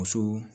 Muso